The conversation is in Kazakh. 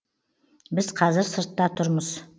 біз қазір сыртта тұрмыз